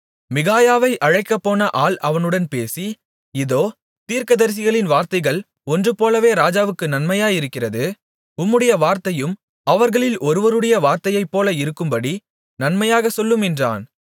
மிகாயாவை அழைக்கப்போன ஆள் அவனுடனே பேசி இதோ தீர்க்கதரிசிகளின் வார்த்தைகள் ஒன்றுபோலவே ராஜாவுக்கு நன்மையாயிருக்கிறது உம்முடைய வார்த்தையும் அவர்களில் ஒருவருடைய வார்த்தையைப்போல இருக்கும்படி நன்மையாகச் சொல்லும் என்றான்